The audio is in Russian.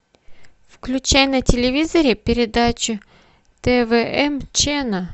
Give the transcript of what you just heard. включай на телевизоре передачу твм ченел